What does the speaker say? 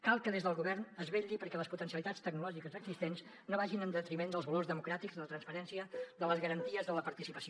cal que des del govern es vetlli perquè les potencialitats tecnològiques existents no vagin en detriment dels valors democràtics de la transparència de les garanties de la participació